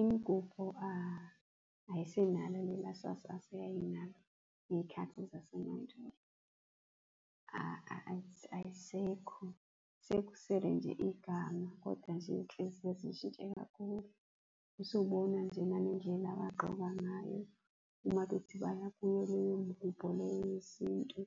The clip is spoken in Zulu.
Imigubho ayisenalo lela sasasa eyayinalo ngey'khathi zasemandulo. Ayisekho sekusele nje igama, kodwa nje iy'nhliziyo zishintshe kakhulu, usubona nje nangendlela agqoka ngayo uma bethi baya kuyo leyo mgubho leyo yesintu.